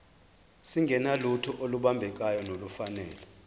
singenalutho olubambekayo nolufanele